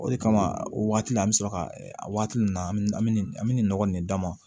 O de kama o waati la an mi sɔrɔ ka waati min na an bi an mi nɔgɔ nin d'a ma